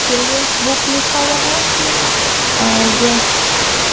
children's book लिखा हुआ है और --